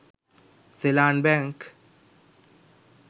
seylan bank